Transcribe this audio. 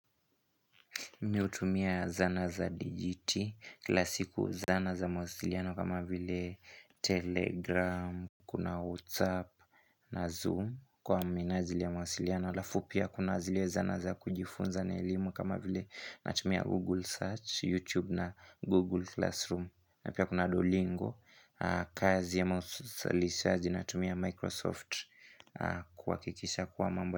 Mi hutumia zana za digiti, kila siku zana za mahasiliano kama vile telegram, kuna whatsapp na zoom kwa minajli ya mawasiliano alafu pia kuna zile zana za kujifunza na elimu kama vile natumia google search, youtube na google classroom napia kuna duolingo, kazi ya mahasilishazi natumia microsoft kuhakikisha kuwa mambo.